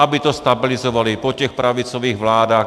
Aby to stabilizovali po těch pravicových vládách.